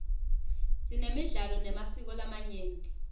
sinemidlalo nemasiko lamanyenti